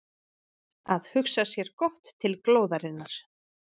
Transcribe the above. Að hugsa sér gott til glóðarinnar